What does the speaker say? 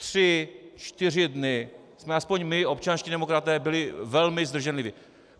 Tři čtyři dny jsme aspoň my, občanští demokraté byli velmi zdrženliví...